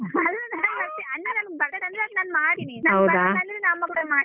ಬರ್ತದಂದ್ರೆ ಅದು ನಾನ್ ಮಾಡಿನಿ ಅಂದ್ರೆ ನಾ ಮತ್ತೆ ಮಾಡ್ತೀನಿ.